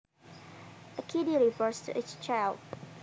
A kiddy refers to a child